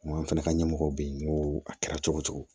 An fana ka ɲɛmɔgɔ be yen n ko a kɛra cogo cogo